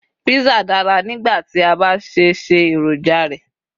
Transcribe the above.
pizza dára nigba ti a ba ṣẹ̀ ṣe eroja rẹ